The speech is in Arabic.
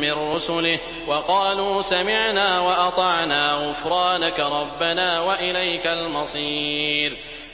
مِّن رُّسُلِهِ ۚ وَقَالُوا سَمِعْنَا وَأَطَعْنَا ۖ غُفْرَانَكَ رَبَّنَا وَإِلَيْكَ الْمَصِيرُ